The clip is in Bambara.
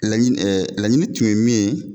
Laɲi lanini tun ye min ye